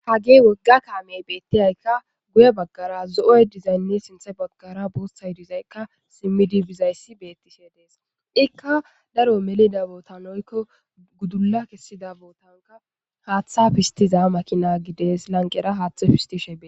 hagi wogga kaamey beettiyaykka guye baggara zo7oy dizaynne sinthe baggara boostay dizaykka simmidi bizayssi beettishe dees ikka daro melida bootanoykko gudulla kessida bootanka haaththa fistiza makina gides lanqera haaththe pistishe e